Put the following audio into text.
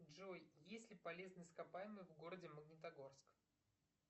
джой есть ли полезные ископаемые в городе магнитогорск